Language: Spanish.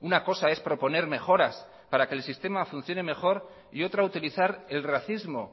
una cosa es proponer mejoras para que el sistema funcione mejor y otra utilizar el racismo